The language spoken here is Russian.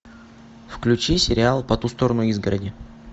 включи сериал по ту сторону изгороди